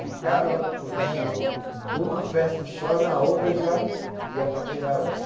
Ficava, curtia um numa festa só, na outra já ia paquerar outra.